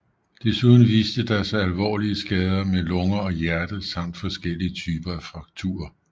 Desuden viste der sig alvorlige skader med lunger og hjerte samt forskellige typer af frakturer